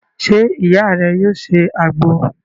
Se iya re yoo se agbo?